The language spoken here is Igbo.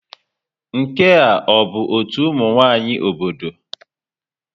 Nke a ọ bụ ọtú ụmụ nwanyị obodo?